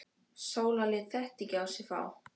Sóla lét þetta ekki á sig fá.